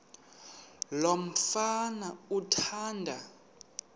lo mfana athanda